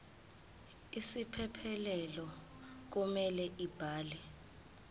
isiphephelo kumele abhale